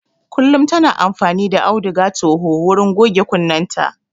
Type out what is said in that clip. Kullum ta na amfani da auduga toho wurin goge kunnenta